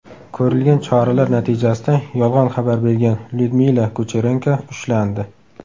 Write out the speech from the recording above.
Ko‘rilgan choralar natijasida yolg‘on xabar bergan Lyudmila Kucherenko ushlandi.